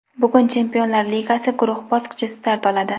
Bugun Chempionlar Ligasi guruh bosqichi start oladi.